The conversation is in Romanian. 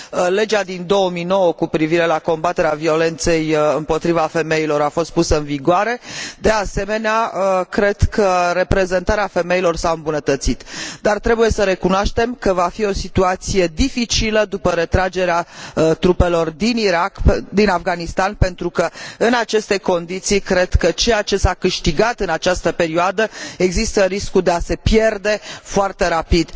Legea din 2009 cu privire la combaterea violenței împotriva femeilor a fost pusă în vigoare. De asemenea, cred că reprezentarea femeilor s a îmbunătățit, dar trebuie să recunoaștem că va fi o situație dificilă după retragerea trupelor din Afganistan pentru că, în aceste condiții, cred că ceea ce s a câștigat în această perioadă există riscul de a se pierde foarte rapid.